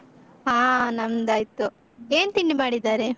ಹಾ ನಮ್ದಾಯ್ತು, ಏನ್ ತಿಂಡಿ ಮಾಡಿದ್ದಾರೆ?